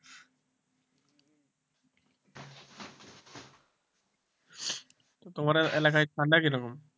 তো তোমাদের এলাকায় ঠান্ডা কি রকম?